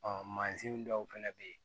mansin dɔw fɛnɛ bɛ yen